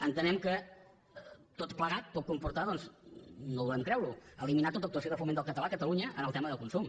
entenem que tot plegat pot comportar doncs no volem creure ho eliminar tota actuació de foment del català a catalunya en el tema de consum